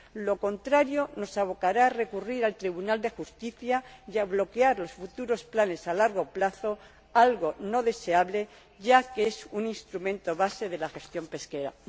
Lo contrario nos abocará a recurrir al Tribunal del Justicia y a bloquear los futuros planes a largo plazo, algo no deseable, ya que es un instrumento base de la gestión pesquera.